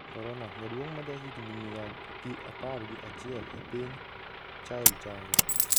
Korona: Jaduong' ma jahigini mia gi apar ga chiel e piny Chile chango